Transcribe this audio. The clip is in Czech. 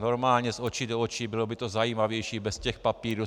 Normálně z očí do očí, bylo by to zajímavější bez těch papírů.